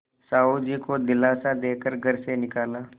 साहु जी को दिलासा दे कर घर से निकाला